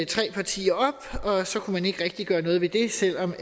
tre partier op og så kunne man ikke rigtig gøre noget ved det selv om